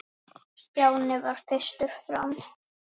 Stjáni varð fyrstur fram.